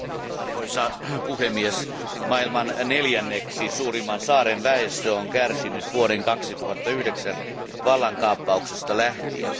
Arvoisa puhemies, maailman neljänneksi suurimman saaren väestö on kärsinyt vuoden 2009 vallankaappauksesta lähtien.